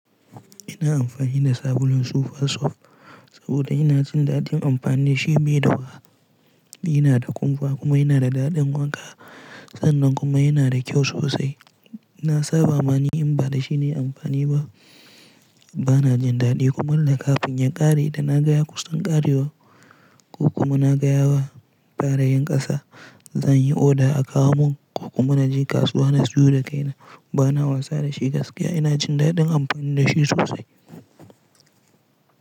Ina amfani da sabulun Super Soft saboda ina jin daɗin amfani da shi bai da haɗari. Yana da kumfa kuma yana da daɗin wanka. San n kuma yana da kyau sosai. Na saba mani in ba da shi na yi amfani ba, ba na jin daɗi. Kuma dan kafin ya ƙare da na gaya kusan ƙarewa ko kuma na gaya wa tare yin ƙasa, zan yi order a kawo mun ko kuma na je kasuwa na siyo da kaina. Ba na wasa da shi gaskiya, ina jin daɗin amfani da shi sosai.